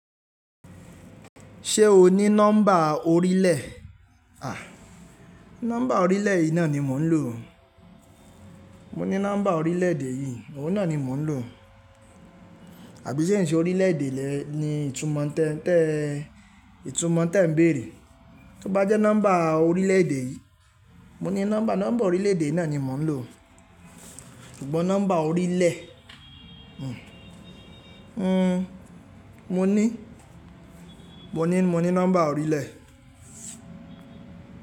Ṣé o ní nọ́mbà orílẹ̀? À, nọ́mbà orílẹ̀ ìná ni mò ń lò. Mo ní nọ́mbà orílẹ̀ èdè yìí, òun náà ni mò ń lò. Àbí ṣe ìṣe orílẹ̀ èdè rẹ ni ìtumọ̀ tó ń bèèrè? Tí ó bá jẹ́ nọ́mbà orílẹ̀ èdè yìí, mo ní nọ́mbà, nọ́mbà orílẹ̀ èdè náà ni mò ń lò. Ṣùgbọ́n nọ́mbà orílẹ̀, mhm, mo ní, mo ní, mo ní nọ́mbà orílẹ̀